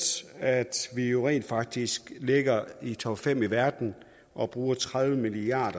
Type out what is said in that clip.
at vi jo rent faktisk ligger i topfem i verden og bruger tredive milliard